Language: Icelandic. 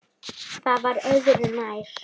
Það var öðru nær.